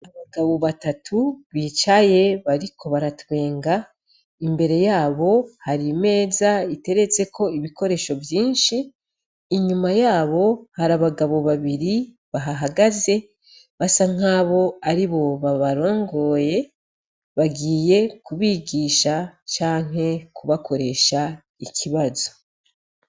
Abagabo batatu bicaye bariko baratwenga , imbere yabo hari imeza iteretseko ibikoresho vyinshi, inyuma yabo harabagabo babiri bahahagaze basa nkabo aribo babarongoye , bagiye kubigisha canke kubakoresha ikibazo.